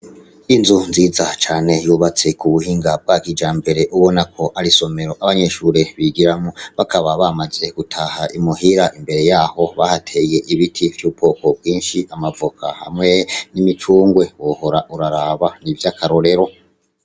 Inzu nziza cane yubatse k'ubuhinga bwa kijambere Ubona ko ari isomero abanyeshure bigiramwo bakaba bamaze gutaha imuhira imbere yaho bahateye ibiti vy'ubwoko bwinshi amavoka hamwe n'imicungwe wohora uraraba nivy'akarorero.